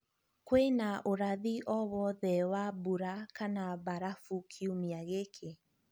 kwīna ūrathi o wothe wa mbura kana barafu kiumia gīkī